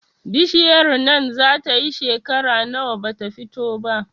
Bishiyar nan zata yi shekera nawa bata fito ba?